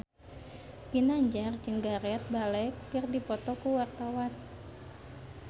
Ginanjar jeung Gareth Bale keur dipoto ku wartawan